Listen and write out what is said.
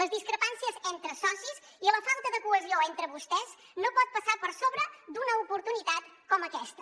les discrepàncies entre socis i la falta de cohesió entre vostès no pot passar per sobre d’una oportunitat com aquesta